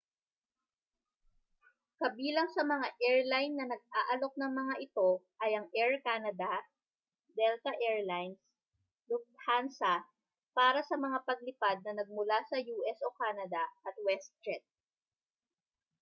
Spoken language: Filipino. kabilang sa mga airline na nag-aalok ng mga ito ay ang air canada delta air lines lufthansa para sa mga paglipad na nagmula sa u s o canada at westjet